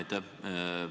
Aitäh!